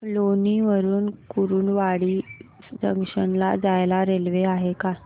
लोणी वरून कुर्डुवाडी जंक्शन ला जायला रेल्वे आहे का